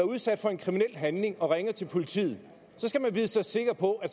udsat for en kriminel handling og ringer til politiet så skal man vide sig sikker på at